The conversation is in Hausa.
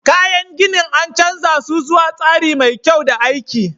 Kayan ginin, an canza su zuwa tsari mai kyau da aiki.